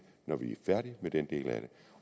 når vi er færdige med den del af det